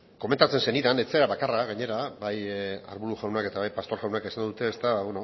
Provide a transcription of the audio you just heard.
komentatzen zenidan ez zara bakarra gainera bai arbulo jaunak eta bai pastor jaunak esan dute ba